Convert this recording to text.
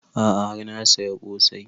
A'a har na saya ƙosai